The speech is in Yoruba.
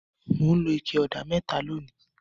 Mò ń lo ike ọ̀dà mẹ́ta lónìí.